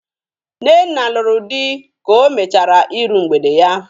Nnenna lụrụ di ka o mecahara iru mgbede ya.